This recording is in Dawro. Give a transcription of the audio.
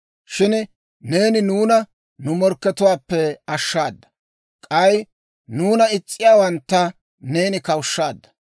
Shin neeni nuuna nu morkkatuwaappe ashshaada; k'ay nuuna is's'iyaawantta neeni kawushshaadda.